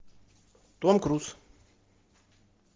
том круз